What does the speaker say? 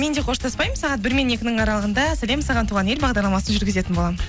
мен де қоштаспаймын сағат бір мен екінің аралығында сәлем саған туған ел бағдарламасын жүргізетін боламын